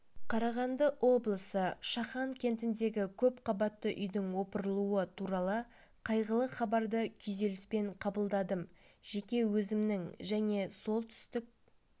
қарағанды облысы шахан кентіндегі көпқабатты үйдің опырылуы туралы қайғылы хабарды күйзеліспен қабалдадым жеке өзімнің және солтүстік